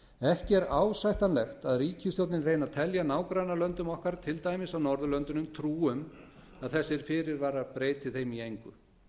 ekki er ásættanlegt að ríkisstjórnin reyni að telja nágrannalöndum okkar til dæmis á norðurlöndunum trú um að þessir fyrirvarar breyti þeim í engu